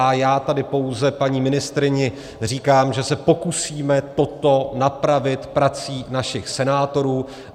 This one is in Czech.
A já tady pouze paní ministryni říkám, že se pokusíme toto napravit prací našich senátorů.